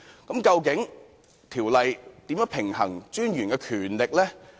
究竟條例如何平衡專員的權力？